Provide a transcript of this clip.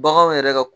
Baganw yɛrɛ ka